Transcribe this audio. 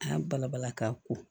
A y'a bala bala ka ko